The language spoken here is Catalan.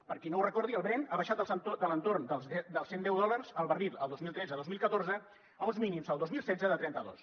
per qui no ho recordi el brent ha baixat de l’entorn dels cent deu dòlars el barril el dos mil tretze dos mil catorze a uns mínims al dos mil setze de trenta dos